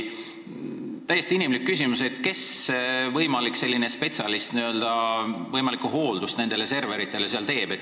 Täiesti inimlik küsimus: kes on see spetsialist, kes nende serverite võimalikku hooldust seal teeb?